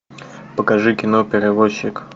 покажи кино перевозчик